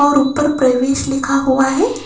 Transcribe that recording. और ऊपर प्रवेश लिखा हुआ है।